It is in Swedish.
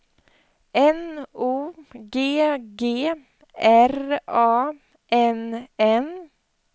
N O G G R A N N